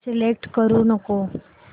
select करू नको